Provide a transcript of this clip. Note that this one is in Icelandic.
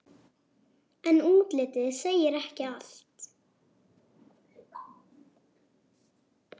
En útlitið segir ekki allt.